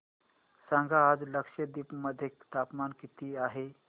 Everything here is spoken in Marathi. सांगा आज लक्षद्वीप मध्ये तापमान किती आहे